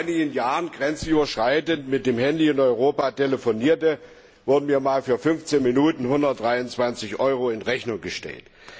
Als ich vor einigen Jahren grenzüberschreitend mit dem Handy in Europa telefonierte, wurden mir einmal für fünfzehn Minuten 123 Euro in Rechnung gestellt.